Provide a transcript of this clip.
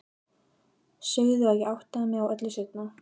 Sögðu að ég áttaði mig á öllu seinna.